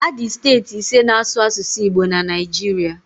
Adị steeti ise na asụ asụsụ Igbo na Naijiria